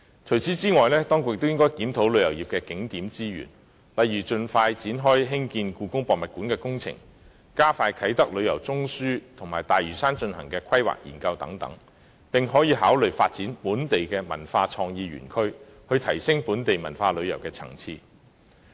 此外，當局亦應檢討旅遊業的景點資源，例如盡快展開興建香港故宮文化博物館的工程、加快發展啟德旅遊中樞及在大嶼山進行的規劃研究等，並可考慮發展本地文化創意園區，以提升本地文化旅遊的層次。